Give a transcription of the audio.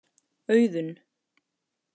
Auðunn